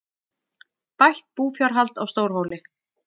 Bætt búfjárhald á Stórhóli